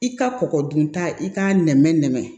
I ka kɔkɔ dun ta i k'a nɛmɛ nɛmɛ